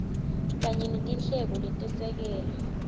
kanye netinhlelo letesekela